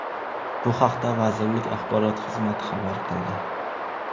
Bu haqda vazirlik axborot xizmati xabar qildi .